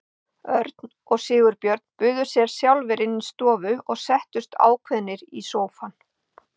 Örn og Sigurbjörn buðu sér sjálfir inn í stofu og settust ákveðnir í sófann.